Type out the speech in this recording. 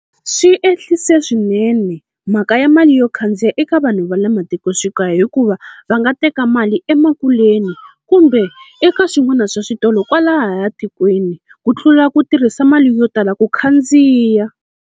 Swi ehlise swinene mhaka ya mali yo khandziya eka vanhu va le matikoxikaya, hikuva va nga teka mali emakuleni kumbe eka swin'wana swa switolo kwalahaya tikweni, ku tlula ku tirhisa mali yo tala ku khandziya.